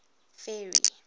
ferry